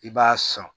I b'a san